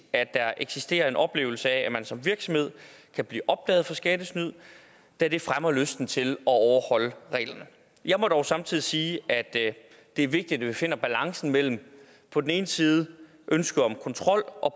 at der eksisterer en oplevelse af at man som virksomhed kan blive opdaget i skattesnyd da det fremmer lysten til at overholde reglerne jeg må dog samtidig sige at det er vigtigt at vi finder balancen mellem på den ene side ønsket om kontrol og